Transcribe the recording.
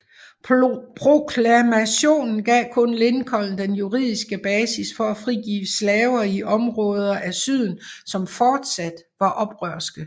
Proklamationen gav kun Lincoln den juridiske basis for at frigive slaver i områder af syden som fortsat var oprørske